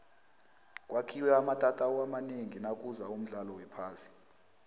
kwakhiwe amatatawu amanengi nakuza umdlalo wephasi